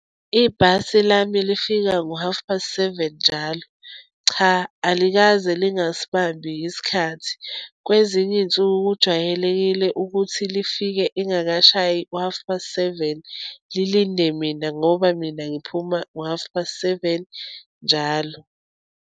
Ibhasi lami lifika ngo-half past seven njalo. Cha, alikaze lingasibambi isikhathi. Kwezinye iy'nsuku kujwayelekile ukuthi lifike ingakashayi i-half past seven, lilinde mina ngoba mina ngiphuma ngo-half past seven njalo.